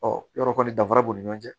Ɔ yɔrɔ kɔni danfara b'u ni ɲɔgɔn cɛ